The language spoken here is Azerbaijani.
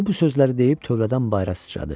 O bu sözləri deyib tövlədən bayıra sıçradı.